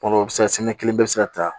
Kuma dɔw bɛ se ka kelen bɛɛ bɛ se ka taa